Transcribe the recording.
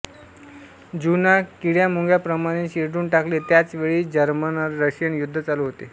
ज्यूंना किडयामुंग्याप्रमाणे चिरडून टाकले त्याच वेळी जर्मनरशियन युद्ध चालू होते